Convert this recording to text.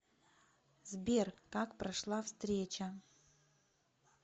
сбер как прошла встреча